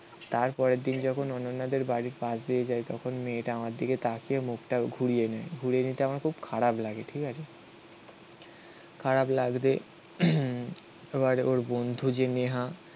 তারপরের দিন যখন অনন্যাদের বাড়ির পাশ দিয়ে যায়, তখন মেয়েটা আমার দিকে তাকিয়ে মুখটাও ঘুরিয়ে নেয়. ঘুরিয়ে নিতে আমার খুব খারাপ লাগে. ঠিক আছে খারাপ লাগতে আবার ওর বন্ধু যে নেহা.